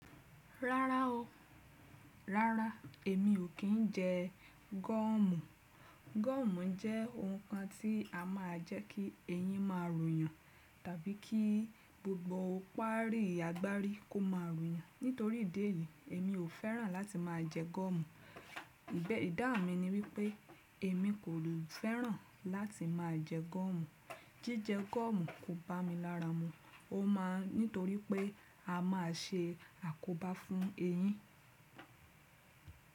Rárá o, rárá èmi ò kín ń jẹ gọ́ọ̀mù. Gọ́ọ̀mù jẹ́ ohun kan tí a máa ń jẹ́ kí eyín máa ro yàn tàbí kí gbogbo ó pa rí, agbá rí kó máa ro yàn. Nítorí ìdí èyí èmi ò fẹ́ràn láti máa jẹ gọ́ọ̀mù. Ìdáhùn mi ni wípé èmi kò fẹ́ràn láti máa jẹ gọ́ọ̀mù. Jíjẹ gọ́ọ̀mù kò bá mi lára mu. Ó ma nítorí pé a máa ṣe àkóbá fún eyín.